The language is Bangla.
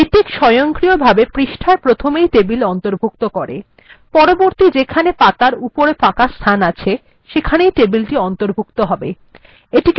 লেটেক্ সয়ন্ক্রিয়ভাবে পৃষ্ঠার প্রথমেই টেবিল অন্তর্ভুক্ত করে পরবর্তী যেখানে পাতার উপরে ফাঁকা স্থান আছে সেখানেই টেবিলটি অন্তর্ভুক্ত হয়